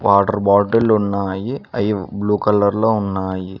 Water bottle ఉన్నాయి అయి blue colour లో ఉన్నాయి.